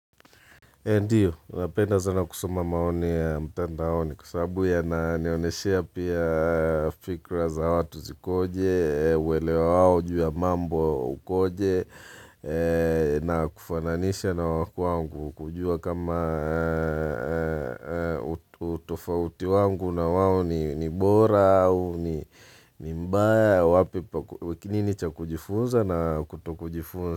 Ndiyo, napenda sana kusoma maoni ya mtandaoni kwa sababu yananioneshea pia fikira za watu zikoje, uelewa wao, jua ya mambo ukoje, na kufananisha na wa kwangu kujua kama utofauti wangu na wao ni bora au ni mbaya, wapi pa ku nini cha kujifunza na kuto kujifunza.